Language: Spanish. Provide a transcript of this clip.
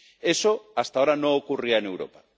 Eso hasta ahora no ocurría en Europa.